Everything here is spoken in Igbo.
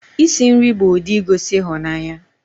Isi nri bụ ụdị igosi ịhụnanya